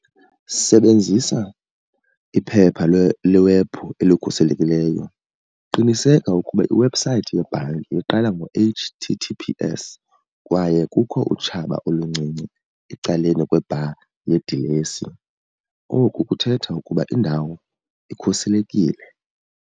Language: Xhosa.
Sebenzisa iphepha lewephu elikhuselekileyo. Qiniseka ukuba iwebhusayithi yebhanki iqala ngo-H_T_T_P_S kwaye kukho utshaba oluncinci ecaleni kwe-bar yedilesi. Oku kuthetha ukuba indawo ikhuselekile.